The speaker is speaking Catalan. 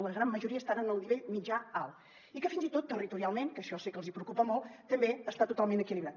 la gran majo·ria estan en el nivell mitjà·alt i que fins i tot territorialment que això sé que els hi preocupa molt també està totalment equilibrat